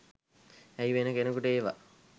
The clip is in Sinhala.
ඇයි වෙන කෙනකුට ඒවා